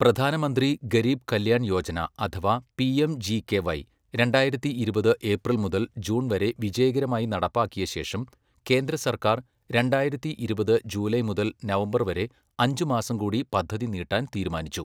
പ്രധാനമന്ത്രി ഗരീബ് കല്യാൺ യോജന അഥവാ പിഎംജികെവൈ രണ്ടായിരത്തി ഇരുപത് ഏപ്രിൽ മുതൽ ജൂൺ വരെ വിജയകരമായി നടപ്പാക്കിയശേഷം കേന്ദ്രസർക്കാർ രണ്ടായിരത്തി ഇരുപത് ജൂലൈ മുതൽ നവംബർ വരെ അഞ്ച് മാസംകൂടി പദ്ധതി നീട്ടാൻ തീരുമാനിച്ചു.